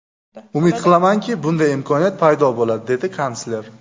Umid qilamanki, bunday imkoniyat paydo bo‘ladi”, − dedi kansler.